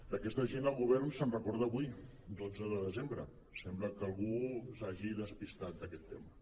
d’aquesta gent el govern se’n recorda avui dotze de desembre sembla que algú s’hagi despistat d’aquest tema